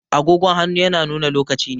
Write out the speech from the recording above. Agogon hannu yana nuna lokaci ne